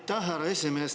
Aitäh, härra esimees!